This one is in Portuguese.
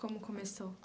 Como começou?